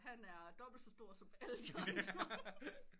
Han er dobbelt så stor som alle de andre